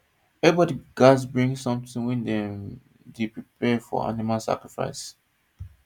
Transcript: everybody gats bring something when dem dey prepare for animal sacrifice